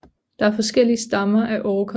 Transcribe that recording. Der er forskellige stammer af Orker